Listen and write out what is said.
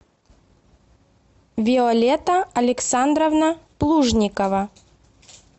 виолетта александровна плужникова